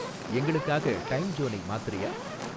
எங்களுக்காக டைம்ஜோனை மாத்துறியா?